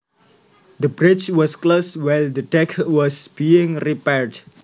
The bridge was closed while the deck was being repaired